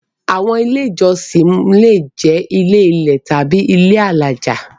Àwọn Ilé-ìjọsìn le jẹ́ ilé-ilẹ̀ tàbí ilé alájà.